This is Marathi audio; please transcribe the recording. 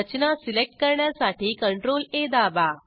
रचना सिलेक्ट करण्यासाठी CTRLA दाबा